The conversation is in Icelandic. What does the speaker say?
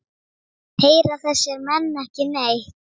Heyra þessir menn ekki neitt?